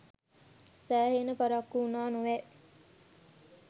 සෑහෙන පරක්කු වුණා නොවැ